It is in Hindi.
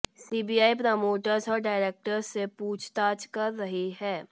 सीबीआई प्रमोटर्स और डायरेक्टर्स से पूछताछ कर रही है